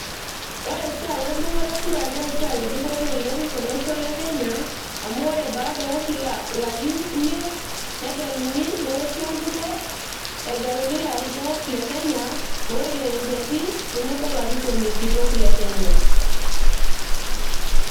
ore esiai endung'oto e kura naa esiai e dupoto oleng tolosho le kenya amu ore baada oo kila larin imiet negeluni neoshi enkuruo egeluni ilarikok le kenya lolkerengeti tenebo olarikoni kitok le kenya.